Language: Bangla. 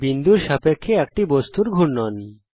বিন্দুর সাপেক্ষে একটি বস্তুর ঘূর্ণন